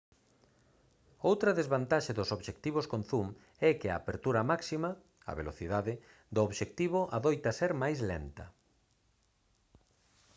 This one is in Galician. outra desvantaxe dos obxectivos con zoom é que a apertura máxima a velocidade do obxectivo adoita ser máis lenta